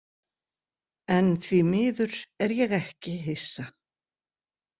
En því miður er ég ekki hissa.